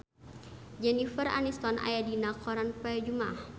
Jennifer Aniston aya dina koran poe Jumaah